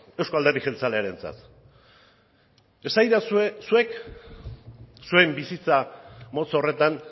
euzko alderdi jeltzalearentzat esaidazue zuek zuen bizitza motz horretan